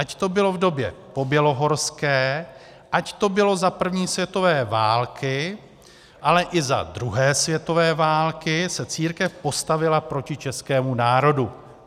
Ať to bylo v době pobělohorské, ať to bylo za první světové války, ale i za druhé světové války se církev postavila proti českému národu."